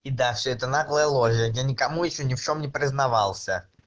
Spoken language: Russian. и да всё это наглая ложь я никому ещё ни в чём не признавался